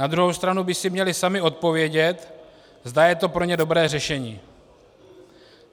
Na druhou stranu by si měli sami odpovědět, zda je to pro ně dobré řešení.